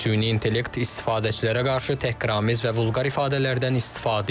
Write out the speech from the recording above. Süni intellekt istifadəçilərə qarşı təhqiramiz və vulqar ifadələrdən istifadə edib.